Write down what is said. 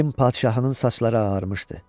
İlin padşahının saçları ağarmışdı.